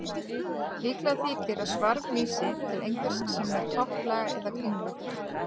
Líklegt þykir að svarf vísi til einhvers sem er topplaga eða kringlótt.